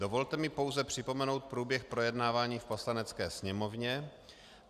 Dovolte mi pouze připomenout průběh projednávání v Poslanecké sněmovně.